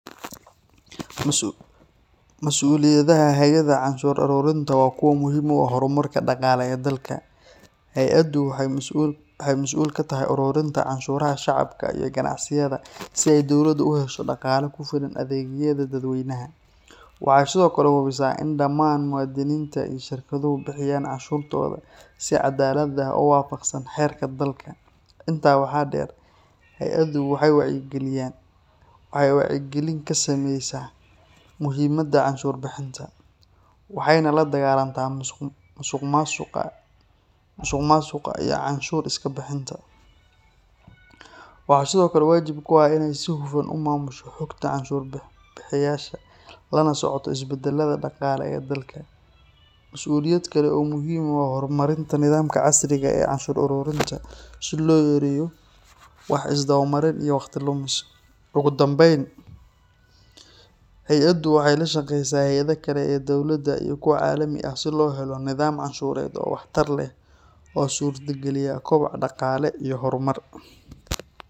Mas’uuliyadaha hay’adda canshuur aruurinta waa kuwa muhiim u ah horumarka dhaqaale ee dalka. Hay’addu waxay masuul ka tahay ururinta canshuuraha shacabka iyo ganacsiyada si ay dowladdu u hesho dhaqaale ku filan adeegyada dadweynaha. Waxay sidoo kale hubisaa in dhammaan muwaadiniinta iyo shirkaduhu bixiyaan canshuurtooda si caddaalad ah oo waafaqsan xeerarka dalka. Intaa waxaa dheer, hay’addu waxay wacyigelin ka samaysaa muhiimadda canshuur bixinta, waxayna la dagaallantaa musuqmaasuqa iyo canshuur iska bixinta. Waxaa sidoo kale waajib ku ah inay si hufan u maamusho xogta canshuur bixiyeyaasha, lana socoto isbeddellada dhaqaale ee dalka. Mas’uuliyad kale oo muhiim ah waa horumarinta nidaamka casriga ah ee canshuur ururinta si loo yareeyo wax isdabamarin iyo waqti lumis. Ugu dambayn, hay’addu waxay la shaqaysaa hay’adaha kale ee dowladeed iyo kuwa caalami ah si loo helo nidaam canshuureed oo waxtar leh oo suurtageliya koboc dhaqaale iyo horumar.